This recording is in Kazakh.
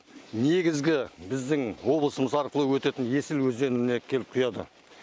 негізгі біздің облысымыз арқылы өтетін есіл өзеніне келіп құяды